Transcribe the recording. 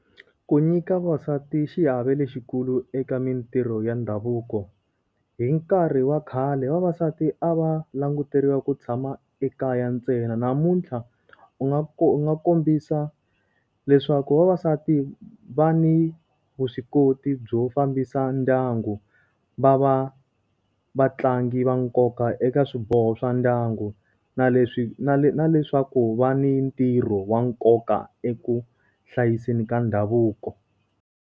Ku nyika vavasati xiave lexikulu eka mintirho ya ndhavuko. Hi nkarhi wa khale vavasati a va languteriwa ku tshama ekaya ntsena namuntlha, u nga u nga kombisa leswaku vavasati va ni vuswikoti byo fambisa ndyangu. Va va vatlangi va nkoka eka swiboho swa ndyangu, na leswi na na leswaku va ni ntirho wa nkoka eku hlayiseni ka ndhavuko.